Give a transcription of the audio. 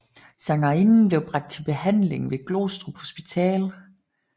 Sangerinden blev bragt til behandling ved Glostrup Hospital